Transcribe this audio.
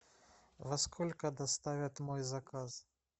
во сколько доставят мой заказ